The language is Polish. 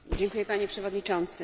Dziękuję, Panie Przewodniczący.